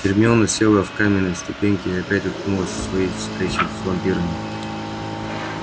гермиона села в каменные ступеньки и опять уткнулась в свои встречи с вампирами